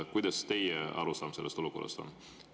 Kuidas teie arusaam sellest olukorrast on?